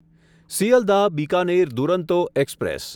Sealdah Bikaner Duronto express